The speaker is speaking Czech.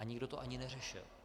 A nikdo to ani neřešil.